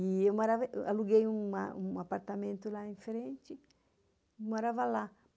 E eu aluguei um apartamento lá em frente e morava lá.